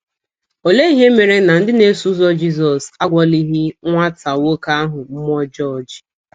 Olee ihe mere na ndị na - eso ụzọ Jizọs agwọlighị nwata nwoke ahụ mmụọ ọjọọ ji?